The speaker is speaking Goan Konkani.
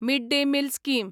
mid day meal scheme